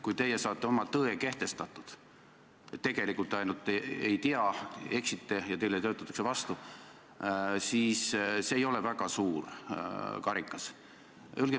Kui teie saate kehtestatud oma tõe, et te tegelikult lihtsalt ei tea, te eksite ja teile töötatakse vastu, siis see ei ole väga suur karikas.